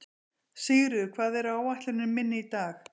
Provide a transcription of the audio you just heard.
Sigríður, hvað er á áætluninni minni í dag?